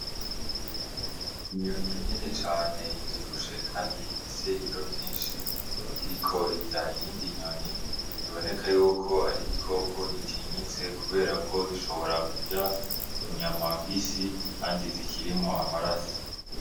Inyoni ineni cane ivyoibushe, kandi ifise ibiro vyinshi iriko irya iyindi inyoni iboneka yuko ari igikoko gitinyitse, kubera ko gishobora kurya inyamambisi andi zikirimo amarasi.